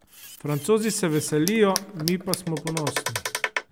Francozi se veselijo, mi pa smo ponosni.